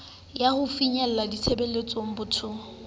ya ho finyeletsa ditshebeletso bathong